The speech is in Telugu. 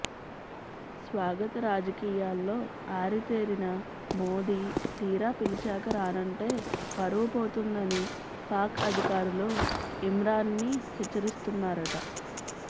స్వాగత రాజకీయాల్లో ఆరితేరిన మోదీ తీరా పిలిచాక రానంటే పరువు పోతుందని పాక్ అధికారులు ఇమ్రాన్ ని హెచ్చరిస్తున్నారట